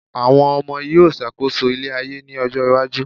àwọn ọmọ yíò ṣàkóso ile ayé ni ọjọ iwaju